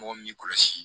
Mɔgɔ min kɔlɔsi